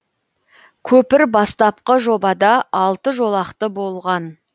көпір бастапқы жобада алты жолақты болған